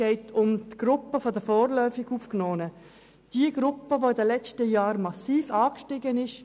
Es geht um die Gruppe der vorläufig Aufgenommen, jene Gruppe, welche in den letzten Jahren massiv grösser geworden ist.